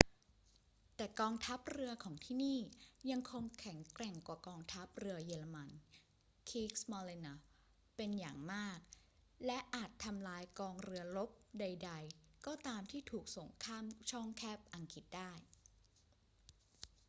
แต่กองทัพเรือของที่นี่ยังคงแข็งแกร่งกว่ากองทัพเรือเยอรมัน kriegsmarine” เป็นอย่างมาก และอาจทำลายกองเรือรบใด ๆ ก็ตามที่ถูกส่งข้ามช่องแคบอังกฤษได้